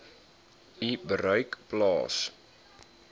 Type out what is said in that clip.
u bereik plaas